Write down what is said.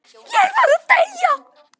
Ég var að deyja!